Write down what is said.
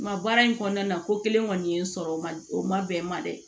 Nga baara in kɔnɔna na ko kelen kɔni ye n sɔrɔ o ma o ma bɛn n ma dɛ